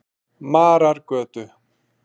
Marargötu